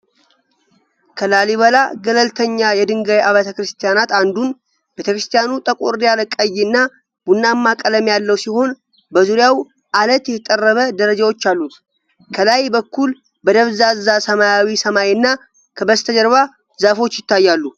ከላሊበላ ገለልተኛ የድንጋይ አብያተ ክርስቲያናት አንዱን ። ቤተ ክርስቲያኑ ጠቆር ያለ ቀይና ቡናማ ቀለም ያለው ሲሆን በዙሪያው ዐለት የተጠረበ ደረጃዎች አሉት። ከላይ በኩል በደብዛዛ ሰማያዊ ሰማይና ከበስተጀርባ ዛፎች ይታያሉ።